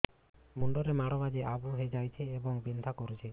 ମୁଣ୍ଡ ରେ ମାଡ ବାଜି ଆବୁ ହଇଯାଇଛି ଏବଂ ବିନ୍ଧା କରୁଛି